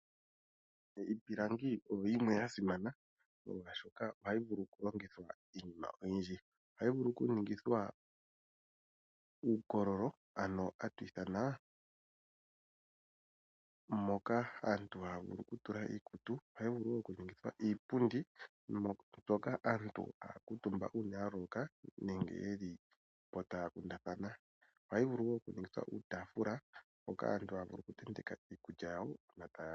Iipilangi oyo yimwe ya simana ngele tashiya oshoka ohayi vulu oku longithwa Iinima oyindji, ohayi vuku oku ningithwa uukololo moka aantu taya vulu okutula iikutu. Ohayi vulu okuninga iipundi hoka aantu haya kuutumba uuna ya loloka nenge ngele taya kundathana. Ohayi vulu wo okuninga iitaafula moka aantu haya vulu oku tenteka iikulya yawo uuna taya li.